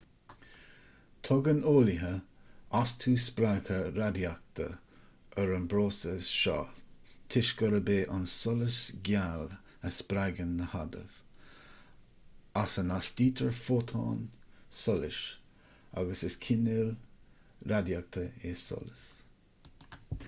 tugann eolaithe astú spreagtha radaíochta ar an bpróiseas seo toisc gurb é an solas geal a spreagann na hadaimh as a n-astaítear fótón solais agus is cineál radaíochta é solas